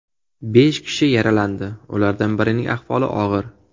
Besh kishi yaralandi, ulardan birining ahvoli og‘ir.